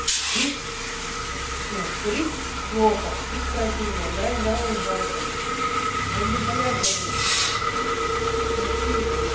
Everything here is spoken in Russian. пить а курить плохо пить противно а умирать здоровым жалко вот непонятно блин вообще не понятно